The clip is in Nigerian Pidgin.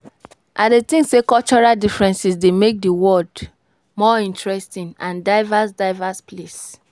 I dey think say cultural differences dey make di world more interesting and diverse diverse place.